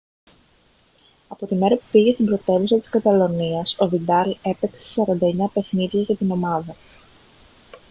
από τη μέρα που πήγε στην πρωτεύουσα της καταλονίας ο βιντάλ έπαιξε σε 49 παιχνίδια για την ομάδα